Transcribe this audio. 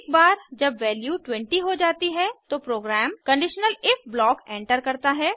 एकबार जब वैल्यू 20 हो जाती है तो program conditional if block enter करता है